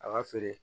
A ka feere